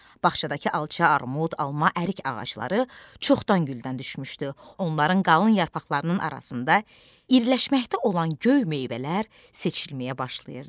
Bağçadakı alça, armud, alma, ərik ağacları çoxdan güldən düşmüşdü, onların qalın yarpaqlarının arasında iriləşməkdə olan göy meyvələr seçilməyə başlayırdı.